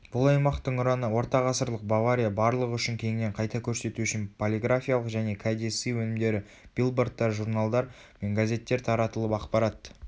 бұл аймақтың ұраны ортағасырлық бавария барлығы үшін кеңінен қайта көрсету үшін полиграфиялық және кәдесый өнімдері билбордтар журналдар мен газеттер таратылып ақпарат